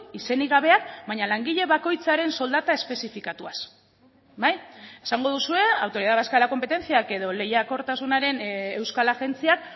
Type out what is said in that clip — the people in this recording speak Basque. izenik gabeak baina langile bakoitzaren soldata espezifikatuaz esango duzue autoridad vasca de la competenciak edo lehiakortasunaren euskal agentziak